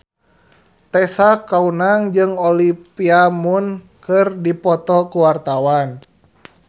Tessa Kaunang jeung Olivia Munn keur dipoto ku wartawan